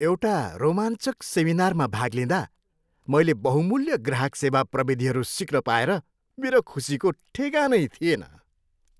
एउटा रोमाञ्चक सेमिनारमा भाग लिँदा, मैले बहुमूल्य ग्राहक सेवा प्रविधिहरू सिक्न पाएर मेरो खुसीको ठेगानै थिएन।